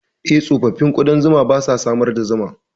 Eh, tsofaffin ƙudan zuma ba sa samar da zuma.